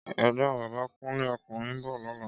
Égbòn Bàbá Kunle (ókúnrìn) n bò lòlá